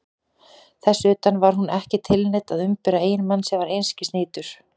Þess utan: var hún ekki tilneydd að umbera eiginmann sem var einskis nýtur?